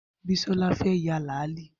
Bisola fẹ́ ya làálí